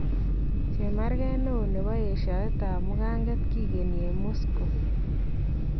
Chemarket neon nebo yeshaeet ab mukaanket kigeni en Moscow